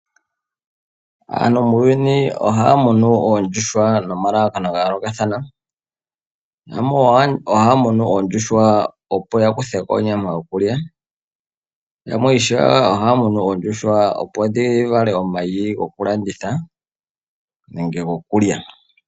Aantu muuyuni ohaya munu oondjuhwa noma lalakano ga yoolokathana. Yamwe ohaya munu oondjuhwa opo ya kutheko onyama yoku lya. Yamwe Ohaya munu oondjuhwa opo dhi vale omayi goku landitha nenge gokulya.